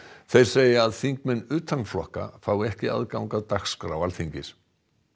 þeir segja að þingmenn utan flokka fái ekki aðgang að dagskrá Alþingis